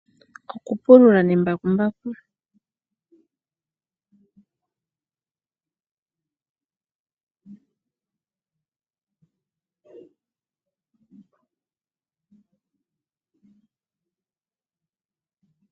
Oku pulula nembakumbaku. Oku pulula kuli ngeyi okwo kwa simana oshoka ohaku endelele shi vulithe oku longa netemo.